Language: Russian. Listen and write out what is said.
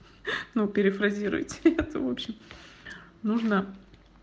ну перефразируйте это очень нужно